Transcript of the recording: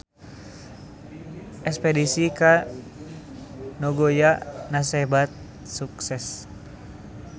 Espedisi ka Nagoya kasebat sukses